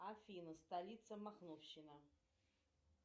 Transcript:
афина столица махновщина